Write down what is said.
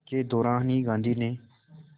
के दौरान ही गांधी ने